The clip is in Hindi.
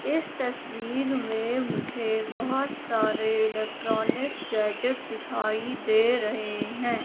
इस तस्वीर में मुझे बहोत सारे इलेक्ट्रॉनिक गैजेट दिखाई दे रहे है।